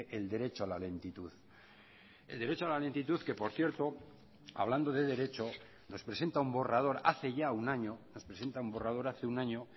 el derecho a la lentitud el derecho a la lentitud que por cierto hablando de derecho nos presenta un borrador hace ya un año nos presenta un borrador hace un año